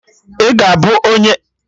Ị ga-abụ onye na anochite anya klaasị socịọlọjị?